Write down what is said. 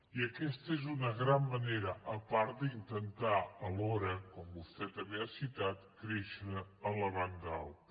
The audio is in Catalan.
i aquesta és una gran manera a part d’intentar alhora com vostè també ha citat créixer a la banda alta